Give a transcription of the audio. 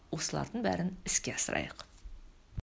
осылардың бәрін іске асырайық